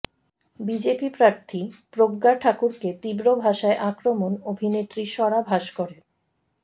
BJP প্রার্থী প্রজ্ঞা ঠাকুরকে তীব্র ভাষায় আক্রমণ অভিনেত্রী স্বরা ভাস্করের